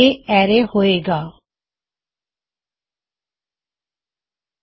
ਇਹ ਹੋਵੇਗਾ ਐਰੇ